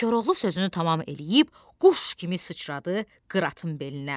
Koroğlu sözünü tamam eləyib quş kimi sıçradı qıratın belinə.